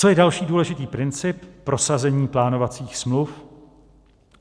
Co je další důležitý princip - prosazení plánovacích smluv.